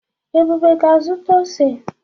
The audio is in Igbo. Ebube ga-azụta ose.